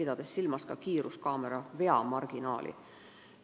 Ka märkis ta kiiruskaamera veamarginaali.